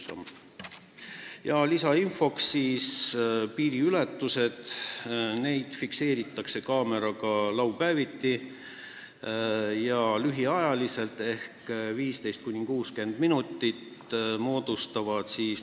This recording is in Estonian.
Lisainfot nii palju, et ka lühiajalisi laupäevaseid piiriületusi fikseeritakse kaameraga, need kestavad 15–60 minutit.